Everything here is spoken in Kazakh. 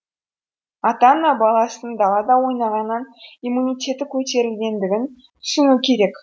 ата ана баласының далада ойнағаннан иммунитеті көтерілетіндігін түсіну керек